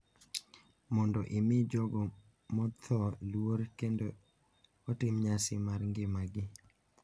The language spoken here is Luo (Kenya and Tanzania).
Mondo omi jogo motho luor kendo otim nyasi mar ngimagi,